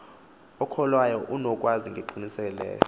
okholwayo unokwazi ngengqiniseko